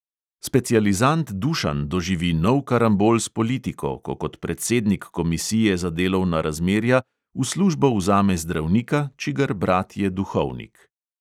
Specializant dušan doživi nov karambol s politiko, ko kot predsednik komisije za delovna razmerja v službo vzame zdravnika, čigar brat je duhovnik.